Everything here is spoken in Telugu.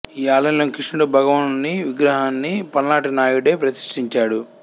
ఈ ఆలయంలోని కృష్ణుడు భగవానుని విగ్రహాన్ని పలనాటి నాయుడే ప్రతిష్ఠించాడు